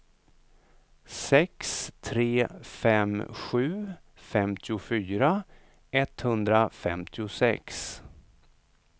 sex tre fem sju femtiofyra etthundrafemtiosex